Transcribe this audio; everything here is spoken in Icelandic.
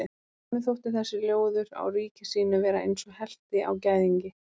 Honum þótti þessi ljóður á ríki sínu vera eins og helti á gæðingi.